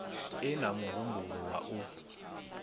e na muhumbulo wa u